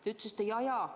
Te ütlesite, et jaa-jaa.